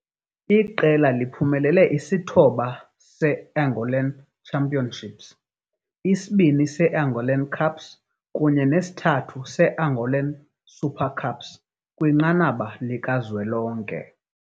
Iqela iphumelele i-9 ye-Angolan Championships, i-2 ye-Angolan Cups kunye ne-3 ye-Angolan Super Cups, kwinqanaba likazwelonke.